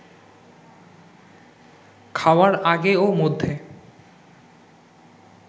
খাওয়ার আগে ও মধ্যে